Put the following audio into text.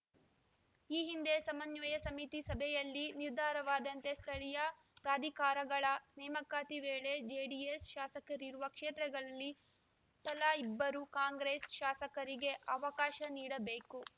ಈ ಹಿಂದೆ ಸಮನ್ವಯ ಸಮಿತಿ ಸಭೆಯಲ್ಲಿ ನಿರ್ಧಾರವಾದಂತೆ ಸ್ಥಳೀಯ ಪ್ರಾಧಿಕಾರಗಳ ನೇಮಕಾತಿ ವೇಳೆ ಜೆಡಿಎಸ್‌ ಶಾಸಕರಿರುವ ಕ್ಷೇತ್ರಗಳಲ್ಲಿ ತಲಾ ಇಬ್ಬರು ಕಾಂಗ್ರೆಸ್‌ ಶಾಸಕರಿಗೆ ಅವಕಾಶ ನೀಡಬೇಕು